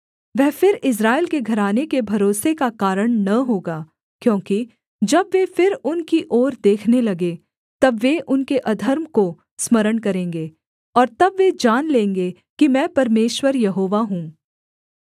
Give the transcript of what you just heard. वह फिर इस्राएल के घराने के भरोसे का कारण न होगा क्योंकि जब वे फिर उनकी ओर देखने लगें तब वे उनके अधर्म को स्मरण करेंगे और तब वे जान लेंगे कि मैं परमेश्वर यहोवा हूँ